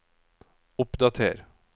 oppdater